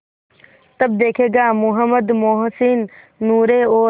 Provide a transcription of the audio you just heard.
तब देखेगा महमूद मोहसिन नूरे और